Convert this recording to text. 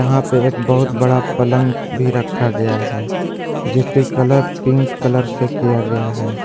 यहां पे एक बहुत बड़ा पलंग भी रखा गया है जिसके कलर पिंक कलर से किया गया है।